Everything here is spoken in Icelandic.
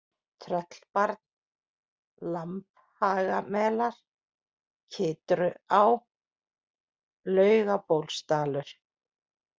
Tröllbarn, Lambhagamelar, Kytruá, Laugabólsdalur